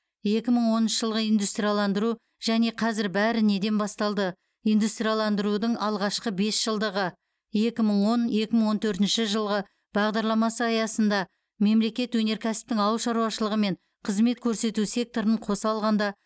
екі мың оныншы жылғы индустрияландыру және қазір бәрі неден басталды индустрияландырудың алғашқы бесжылдығы екі мың он екі мың он төртінші жылғы бағдарламасы аясында мемлекет өнеркәсіптің ауыл шаруашылы мен қызмет көрсету секторын қос алғанда